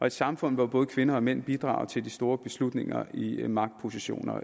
et samfund hvor både kvinder og mænd bidrager til de store beslutninger i magtpositioner